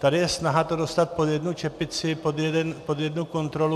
Tady je snaha to dostat pod jednu čepici, pod jednu kontrolu.